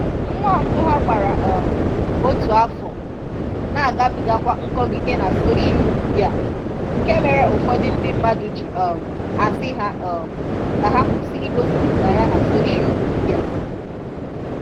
Nwa mbụ ha gbara um otu afọ na-agabigakwa nkọgide na soshial midịa, nke mere ụfọdụ ndị mmadụ ji um asị ha um ka ha kwụsi igosipụta ya na soshial midịa.